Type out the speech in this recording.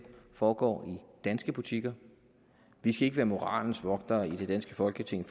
foregår i danske butikker vi skal ikke være moralens vogtere i det danske folketing